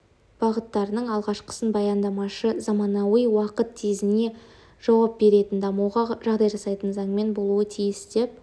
бағыттарының алғашқысын баяндамашы заманауи уақыт тезіне жауап беретін дамуға жағдай жасайтын заңнама болуы тиіс деп